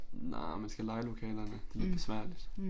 Nej man skal leje lokalerne det lidt besværligt